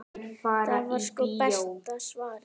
Það var sko besta svarið.